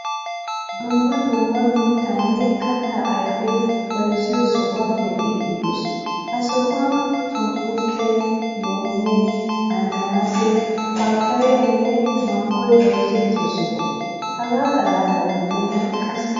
Dumma dumma mittaane katta ayfeta bayzziyo sohuwaa be'idi deos. Ha sohuwan shunkurtte, loome, ananaase, pappayaynne manggoy bayzzettiyo soho. Hegaa xalala gidenan qassi harabatika bayzzettoosona.